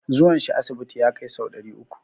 Zuwan shi asibi ya kai sau ɗari uku.